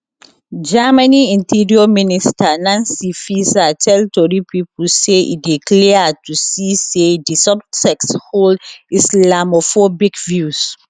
germany interior minister nancy faeser tell tori pipo say e dey clear to see say di suspect hold islamophobic views